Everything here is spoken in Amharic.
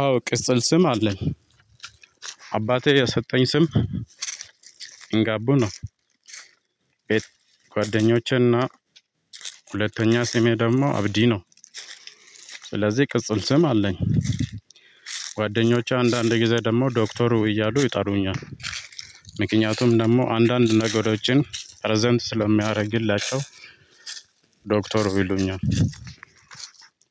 አዎ ቅጽል ስም አለኝ አባቴ የሰጠኝ ስም ኢንጋቡ ነው። ቤት ጓደኞቼ እና ሁለተኛ ስሜ ደግሞ አብዲ ነው። ስለዚህ ቅጽል ስም አለኝ። ጓደኖቼ አንዳንድ ጊዜ ደግሞ ዶክተሩ እያሉ ይጠሩኝል። ምክንያቱም ደግሞ አንዳንድ ነገሮችን ፕረዘንት ስለሚያደርግላቸው። ዶክተር የሉኛል።